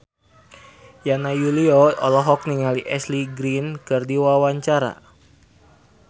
Yana Julio olohok ningali Ashley Greene keur diwawancara